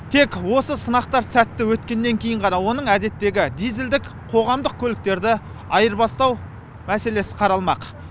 тек осы сынақтар сәтті өткеннен кейін ғана оның әдеттегі дизельдік қоғамдық көліктерді айырбастау мәселесі қаралмақ